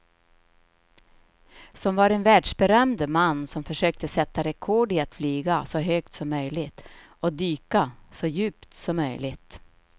Som var en världsberömd man som försökte sätta rekord i att flyga så högt som möjligt och dyka så djupt som möjligt.